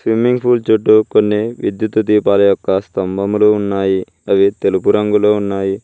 Swimming pool చుట్టూ కొన్ని విద్యుత్ దీపాల యొక్క స్తంభములు ఉన్నాయి అవి తెలుపు రంగులో ఉన్నాయి.